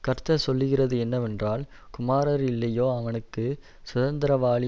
கர்த்தர் சொல்லுகிறது என்னவென்றால் குமாரர் இல்லையோ அவனுக்கு சுதந்தரவாளி